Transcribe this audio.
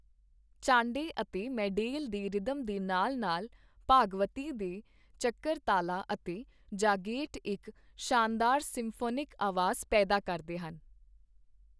ਚਾਂਡੇ ਅਤੇ ਮੈਡੇਲ ਦੇ ਰਿਦਮ ਦੇ ਨਾਲ ਨਾਲ ਭਾਗਵਤੀ ਦੇ ਚਕਰਤਾਲਾ ਅਤੇ ਜਾਗੇਟ ਇੱਕ ਸ਼ਾਨਦਾਰ ਸਿੰਫੋਨਿਕ ਆਵਾਜ਼ ਪੈਦਾ ਕਰਦੇ ਹਨ।